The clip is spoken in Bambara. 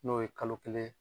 N'o ye kalo kelen